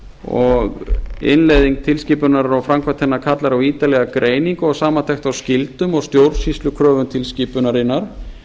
og innleiðing tilskipunar og framkvæmd hennar kallar á ítarlega greiningu og samantekt á skyldum og stjórnsýslukröfum tilskipunarinnar